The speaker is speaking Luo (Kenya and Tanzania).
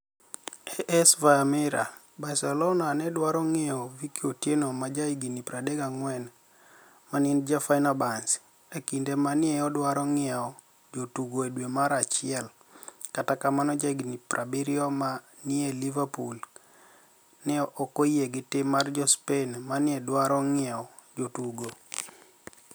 (AS - via Mirror) Barcelonia ni e dwaro nig'iewo Vicky otieno ma jahiginii 34, ma eni ja Feni erbahce, e kinide ma ni e idwaro nig'iewo jotugo e dwe mar achiel, kata kamano, jahiginii 70 ma ni e niie Liverpool, ni e ok oyie gi tim mar jo Spaini ma ni e dwaro nig'iewo jotugo.